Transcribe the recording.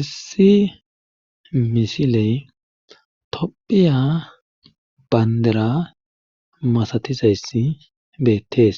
issi misiley tophiya bayndera masatizayssi beettees